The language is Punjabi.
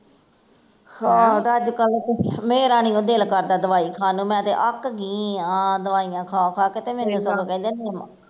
ਆਹੋ ਤੇ ਅੱਜ ਕੱਲ, ਮੇਰਾ ਨਹੀਂਓ ਦਿਲ ਕਰਦਾ ਦਵਾਈ ਖਾਣ ਨੂੰ, ਮੈਂ ਤੇ ਅੱਕ ਗੀ ਆ ਦਵਾਈਆਂ ਖਾ ਖਾ ਕੇ ਤੇ ਮੈਂ ਤੇ ਸਗੋਂ ਪਹਿਲਾਂ ਈ ਨਿਮ